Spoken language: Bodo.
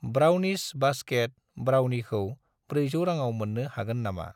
ब्राउनिस बास्केट ब्राउनिखौ 400 राङाव मोन्नो हागोन नामा?